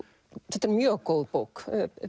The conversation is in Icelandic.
þetta er mjög góð bók